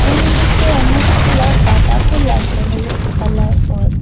উনদিকে অনেকগুলা গাঁদা ফুল আসে হলুদ কালার ওর।